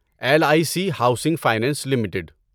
L I C Housing Finance limited